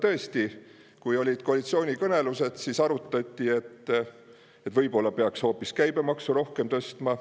Tõesti, kui olid koalitsioonikõnelused, arutati, et võib-olla peaks hoopis käibemaksu rohkem tõstma.